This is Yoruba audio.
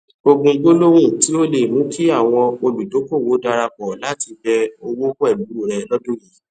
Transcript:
ogún gbólóhùn tí o le è mú kí àwọn olùdókòwò darapọ láti bẹ owò pẹlú rẹ lọdún yii